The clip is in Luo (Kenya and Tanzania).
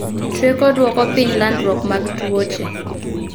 Chweko dwoko piny landruok mag tuoche